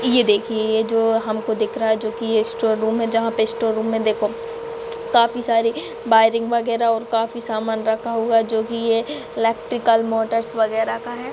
ये देखिए ये जो हमको दिख रहा है जो कि ये स्टोर रूम जहाँ पे स्टोर मे देखो काफी सारे वाइरिंग वगैरा और काफी समान रखा हुआ है जो कि ये इलेक्ट्रिकल मोटर्स वगैरा का है।